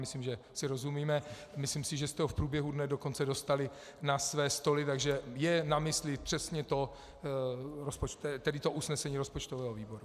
Myslím, že si rozumíme, a myslím, že jste ho v průběhu dne dokonce dostali na své stoly, takže je na mysli přesně to usnesení rozpočtového výboru.